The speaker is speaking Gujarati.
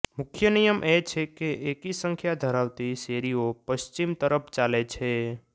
મુખ્ય નિયમ એ છે કે એકી સંખ્યા ધરાવતી શેરીઓ પશ્ચિમ તરફ ચાલે છે